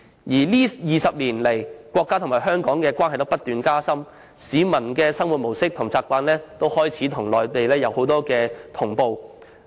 在這20年來，國家與香港的關係不斷加深，市民的生活模式和習慣也開始與內地同步。